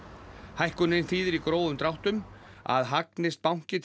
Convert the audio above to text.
hækkunin þýðir í grófum dráttum að hagnist banki